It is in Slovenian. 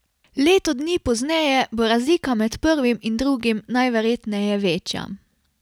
Leto dni pozneje bo razlika med prvim in drugim najverjetneje večja.